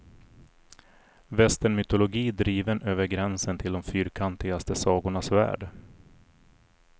Västernmytologi driven över gränsen till de fyrkantigaste sagornas värld.